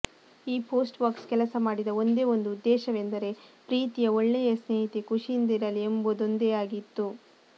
ಈ post box ಕೆಲಸ ಮಾಡಿದ ಒಂದೇ ಒಂದು ಉದ್ದೇಶವೆಂದರೆ ಪ್ರೀತಿಯ ಒಳ್ಳೆಯ ಸ್ನೇಹಿತೆ ಖುಷಿಯಿಂದರಲಿ ಎಂಬುದೊಂದೇಯಾಗಿತ್ತು